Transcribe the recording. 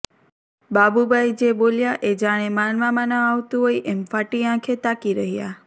બાબુભાઈ જે બોલ્યા એ જાણે માનવામાં ના આવતું હોય એમ ફાટી આંખે તાકી રહ્યાં